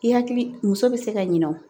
I hakili muso bɛ se ka ɲinɛ o